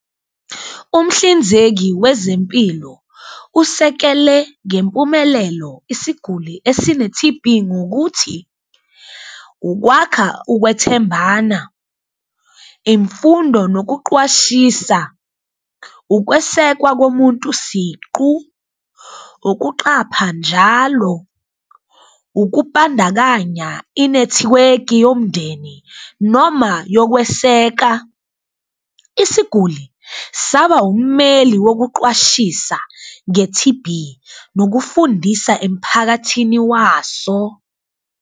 Umhlinzeki wezempilo usekele ngempumelelo isiguli esine-T_B ngokuthi ukwakha ukwethembana, imfundo nokuqwashisa, ukwesekwa komuntu siqu, ukuqapha njalo, ukubandakanya inethiweki yomndeni noma yokweseka. Isiguli saba ummeli wokuqwashisa nge-T_B nokufundisa emiphakathini waso.